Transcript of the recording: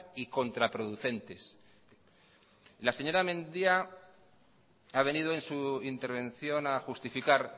y contraproducentes la señora mendia ha venido en su intervención a justificar